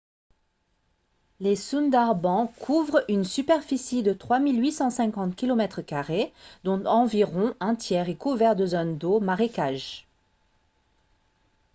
les sundarbans couvrent une superficie de 3 850 km² dont environ un tiers est couvert de zones d’eau/marécages